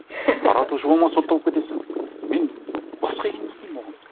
таратушы болма сотталып кетесің мен басқа енді не деймін оған